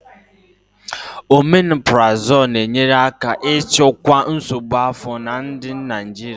Omeparazolu na-enyere aka ịchịkwa nsogbu afọ na ndị Naijiria.